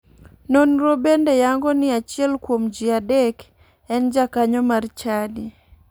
Nonro bende yango ni achiel kuom ji adek en jakanyo mar chadi.